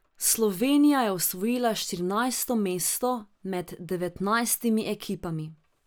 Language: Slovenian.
Slovenija je osvojila štirinajsto mesto med devetnajstimi ekipami.